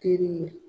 Teri ye